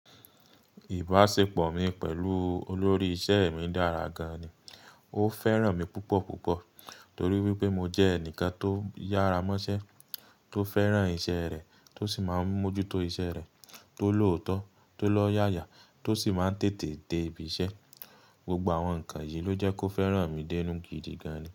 Ìbáṣepọ̀ mi pẹ̀lú olórí iṣẹ́ mi dára gan-an ni. Ó fẹ́ràn mi púpọ̀púpọ̀ torí wípé mo jẹ́ ẹnìkan tó yára mọ́ṣẹ́, tó fẹ́ràn iṣẹ́ rẹ̀, tó sì máa ń mójú tó iṣẹ́ rẹ̀, tó lòótọ́, tó lọ́yàyà tó sì máa ń tètè dé ibiṣẹ́. Gbogbo àwọn nǹkan yìí ló jẹ́ kó fẹ́ràn mi dénu gidi gan-an ni.